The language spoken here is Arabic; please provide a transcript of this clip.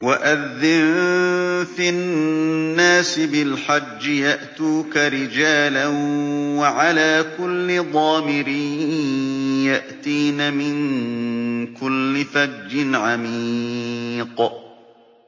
وَأَذِّن فِي النَّاسِ بِالْحَجِّ يَأْتُوكَ رِجَالًا وَعَلَىٰ كُلِّ ضَامِرٍ يَأْتِينَ مِن كُلِّ فَجٍّ عَمِيقٍ